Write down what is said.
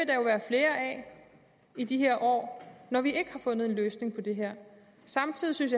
i de her år når vi ikke har fundet en løsning på det her samtidig synes